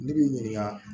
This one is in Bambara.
Ne b'i ɲininka